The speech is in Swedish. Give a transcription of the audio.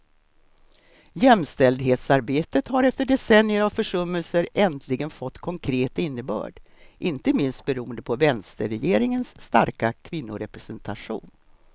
Jämställdhetsarbetet har efter decennier av försummelser äntligen fått konkret innebörd, inte minst beroende på vänsterregeringens starka kvinnorepresentation.